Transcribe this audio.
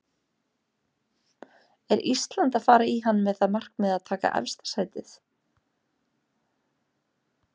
Er Ísland að fara í hann með það markmið að taka efsta sætið?